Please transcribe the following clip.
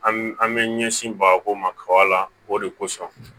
An an bɛ ɲɛsin bagako ma kaba la o de kosɔn